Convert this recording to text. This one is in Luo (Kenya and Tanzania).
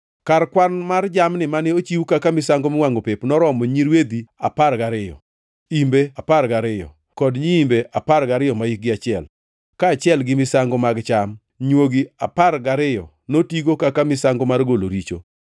Kar kwan mar jamni mane ochiw kaka misango miwangʼo pep noromo nyirwedhi apar gariyo, imbe apar gariyo kod nyiimbe apar gariyo mahikgi achiel, kaachiel gi misango mag cham. Nywogi apar gariyo notigo kaka misango mar golo richo.